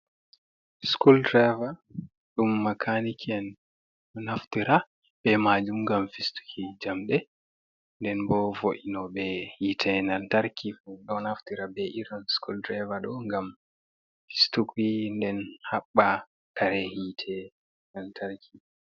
School driver ɗum makaniki en ɗo naftira be majum ngam fistuki jamde, nden bo vo’ino be hite lantarki, ɗo naftira be irin school driver ɗo ngam fistuki nden haɓba kare hite lantarki.